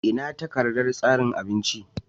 Ina takardar tsarin abincin?